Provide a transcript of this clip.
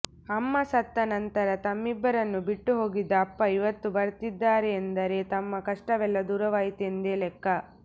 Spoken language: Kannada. ಅಮ್ಮ ಸತ್ತ ನಂತರ ತಮ್ಮಿಬ್ಬರನ್ನು ಬಿಟ್ಟು ಹೋಗಿದ್ದ ಅಪ್ಪ ಇವತ್ತು ಬರ್ತಿದ್ದಾರೆಂದರೆ ತಮ್ಮ ಕಷ್ಟವೆಲ್ಲಾ ದೂರವಾಯಿತೆಂದೇ ಲೆಕ್ಕ